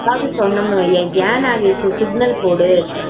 நம்ம பாத்து சொன்னோம்னு வை என் நாகேஷ் சிக்னல் போடு